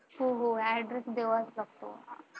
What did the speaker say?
हो हो address द्यावाच लागतो.